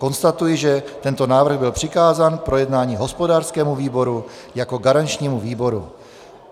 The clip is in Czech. Konstatuji, že tento návrh byl přikázán k projednání hospodářskému výboru jako garančnímu výboru.